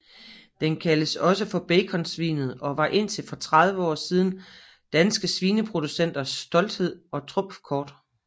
Den kaldes også for Baconsvinet og var indtil for 30 år siden danske svineproducenters stolthed og trumfkort